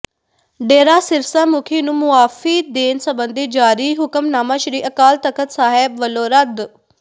ਡੇਰਾ ਸਿਰਸਾ ਮੁੱਖੀ ਨੂੰ ਮੁਆਫੀ ਦੇਣ ਸਬੰਧੀ ਜਾਰੀ ਹੁਕਮਨਾਮਾ ਸ੍ਰੀ ਅਕਾਲ ਤਖਤ ਸਾਹਿਬ ਵੱਲੋਂ ਰੱਦ